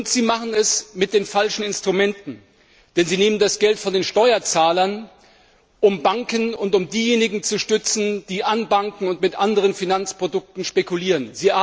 Sie machen es mit den falschen Instrumenten, denn Sie nehmen das Geld von den Steuerzahlern, um die Banken und diejenigen zu stützen, die an Banken und mit anderen Finanzprodukten spekulieren.